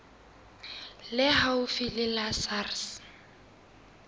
le haufi le la sars